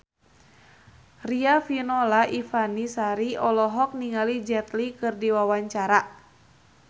Riafinola Ifani Sari olohok ningali Jet Li keur diwawancara